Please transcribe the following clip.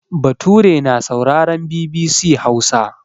Bature na sauraren BBC Hausa.